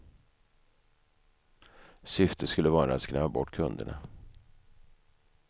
Syftet skulle vara att skrämma bort kunderna.